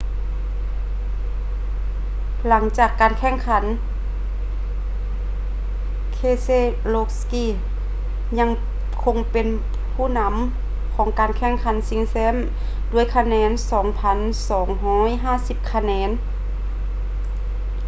ຫຼັງຈາກການແຂ່ງຂັນ keselowski ຍັງຄົງເປັນຜູ້ນຳຂອງການແຂ່ງຂັນຊິງແຊັມດ້ວຍຄະແນນ 2,250 ຄະແນນ